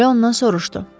Rö ondan soruşdu.